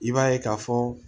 I b'a ye ka fɔ